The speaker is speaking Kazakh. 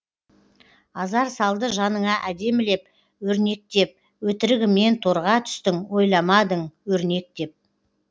азар салды жаныңа әдемілеп өрнектеп өтірігімен торға түстің ойламадың өрнек деп